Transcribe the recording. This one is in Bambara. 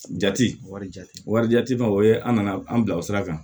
Jate wari jate wari jate ma o ye an nana an bila o sira kan